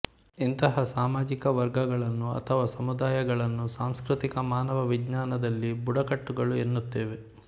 ಇಂಥಹ ಸಾಮಾಜಿಕ ವರ್ಗಗಳನ್ನು ಅಥವಾ ಸಮುದಾಯಗಳನ್ನು ಸಾಂಸ್ಕೃತಿಕ ಮಾನವ ವಿಜ್ಞಾನದಲ್ಲಿ ಬುಡಕಟ್ಟುಗಳು ಎನ್ನುತ್ತೇವೆ